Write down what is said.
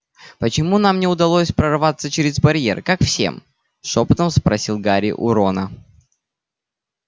почему нам не удалось прорваться через барьер как всем шёпотом спросил гарри у рона